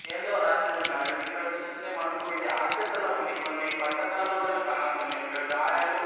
ఏందో రాసి ఉన్నాది ఇక్కడ చూస్తుంటే మనకు ఇది ఆసుపత్రిలా ఉంది కొన్ని బట్ట తలలు కూడా కానస్తున్నాయ్ ఇక్కడ గాయాలు --